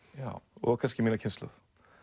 og kannski mína kynslóð